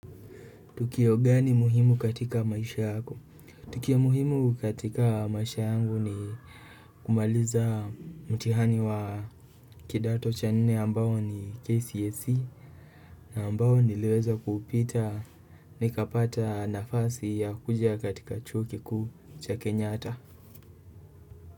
Tukio gani muhimu katika maisha yako? Tukio muhimu katika maisha yangu ni kumaliza mtihani wa kidato cha nne ambao ni KCSE na ambao niliweza kuupita nikapata nafasi ya kuja katika chuo kikuu cha Kenyatta.